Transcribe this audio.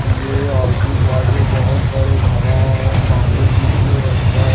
ये आजू बाजू बहुत सारे घरा हैं सामने बीच में रस्ता है।